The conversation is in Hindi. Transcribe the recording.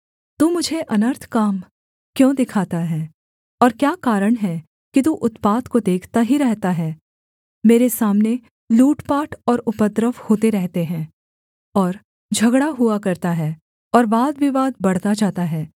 तू मुझे अनर्थ काम क्यों दिखाता है और क्या कारण है कि तू उत्पात को देखता ही रहता है मेरे सामने लूटपाट और उपद्रव होते रहते हैं और झगड़ा हुआ करता है और वादविवाद बढ़ता जाता है